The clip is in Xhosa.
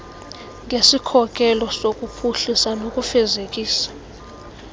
ngesikhokelo sokuphuhlisa nokufezekisa